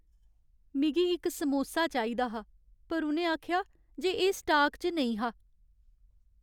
मिगी इक समोसा चाहिदा हा पर उ'नें आखेआ जे एह् स्टाक च नेईं हा।